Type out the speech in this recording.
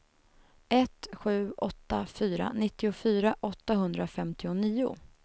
ett sju åtta fyra nittiofyra åttahundrafemtionio